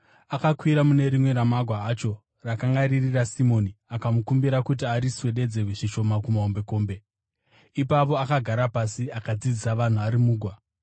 Akakwira mune rimwe ramagwa acho, rakanga riri raSimoni, akamukumbira kuti ariswededze zvishoma kumahombekombe. Ipapo akagara pasi akadzidzisa vanhu ari mugwa.